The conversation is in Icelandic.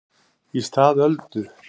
Í stað Öldu